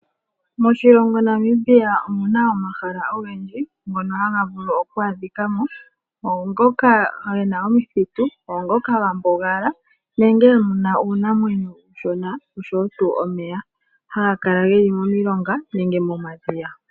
Moshilongo Namibia omuna omahala ogendji ngono haga vulu okwa adhika mo, ongooka gena omithitu ongooka ga mbugala nenge muna uunamweyo uushona oshowo tuu omeya haga kala geli momilonga nenge momadhiya.